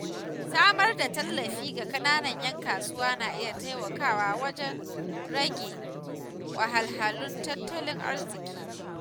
Samar da tallafi ga ƙananan ‘yan kasuwa na iya taimakawa wajen rage wahalhalun tattalin arziƙi.